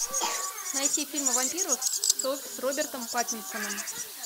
найти фильм о вампирах с робертом паттинсоном